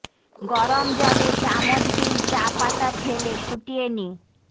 গরম জলে চামচ দুই চা পাতা ফেলে ফুটিয়ে নি